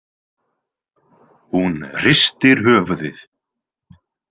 Hún hristir höfuðið.